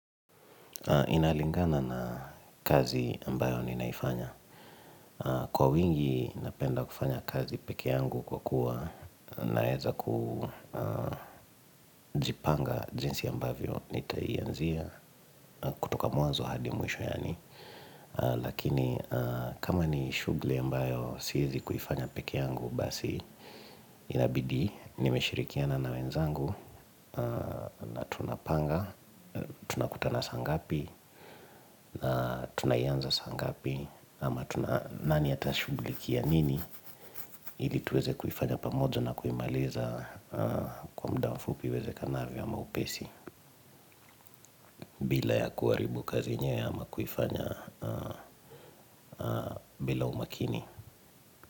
Inalingana na kazi ambayo ninaifanya Kwa wingi napenda kufanya kazi peke yangu kwa kuwa naeza kujipanga jinsi ambavyo ntaianzia kutoka mwanzo hadi mwisho yani Lakini kama ni shughuli ambayo siezi kuifanya pekeyangu basi inabidi nimeshirikiana na wenzangu na tunapanga tunakutana saangapi na tunaianza saangapi ama tuna, nani atashughulikia nini ili tuweze kufanya pamoja na kuimaliza Kwa muda fupi iwezekanavyo ama upesi bila ya kuaribu kazi yenyewe ama kuifanya bila umakini.